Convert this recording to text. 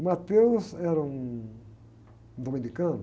O Matheus era um dominicano,